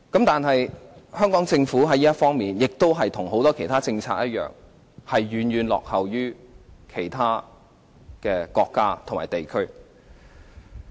但是，香港政府在這方面的政策與很多其他政策一樣，遠遠落後於其他國家和地區。